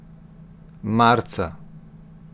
Marca.